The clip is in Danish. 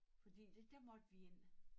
Fordi det der måtte vi ind